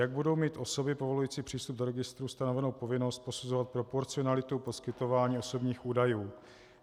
Jak budou mít osoby povolující přístup do registrů stanovenu povinnost posuzovat proporcionalitu poskytování osobních údajů?